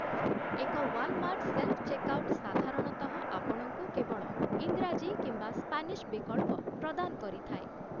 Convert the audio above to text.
ଏକ 'Walmart self checkout' ସାଧାରଣତଃ ଆପଣଙ୍କୁ କେବଳ ଇଂରାଜୀ କିମ୍ବା ସ୍ପେନିଶ ବିକଳ୍ପ ପ୍ରଦାନ କରିଥାଏ ।